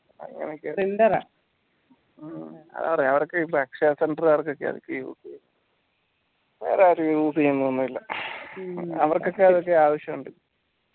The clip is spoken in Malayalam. അങ്ങനൊക്കെ അറിയാ അവർക്ക് വേറെരു use യ്‌നൊന്നുല്യ അവർക്കൊക്കെ ആ ആവിശ്യണ്ട്